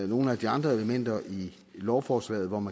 nogle af de andre elementer i lovforslaget og om